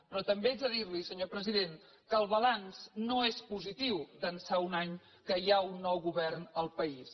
però també haig de dir li senyor president que el balanç no és positiu d’ençà d’un any que hi ha un nou govern al país